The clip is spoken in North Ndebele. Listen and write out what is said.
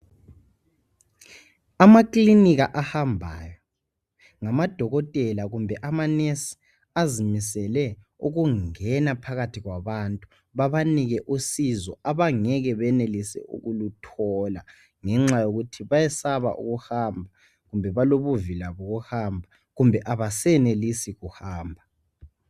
Amakilinika ahambayo, ngamadokotela kumbe amanesi azimisele ukungena phakathi kwabantu babanike usizo abangeke benelise ukuluthola ngenxa yokuthi bayesaba ukuhamba kumbe balobuvila bokuhamba kumbe abasenelisi ukuhamba.